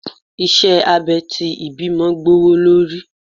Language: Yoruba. iṣẹ abè ti ìbímo gbówólorí